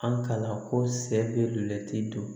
An kalan ko sɛ be luti don